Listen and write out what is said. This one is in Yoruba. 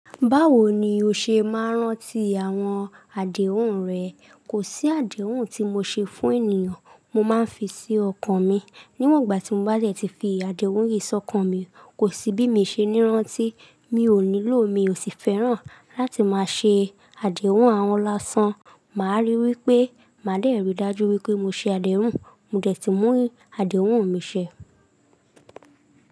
Báwo ni o ṣe máa ń rántí àwọn àdéhùn rẹ? Kò sí àdéhùn tí mo ṣe fún ènìyàn, mo máa ń fi sí ọkàn mi. Níwọ̀n ìgbà tí mo bá dè ti fi àdéhùn yìí ọ́kàn mi, kò sí bí mi o ṣe nírántí. Mi ò nílò, mi ò sì fẹ́ràn láti máa ṣe àdéhùn àhọn lá san. Màá rí wí pé máa dẹ̀ rí dájú wí pé mo ṣe àdéhùn, mo dẹ̀ ti mú àdéhùn mi ṣẹ.